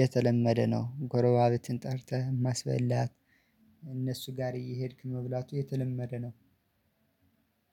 የተለመደ ነው። ጎረባቤትን ጠርተህ ማስበላት እነሱ ጋር እየሄድክ መብላቱ የተለመደ ነው።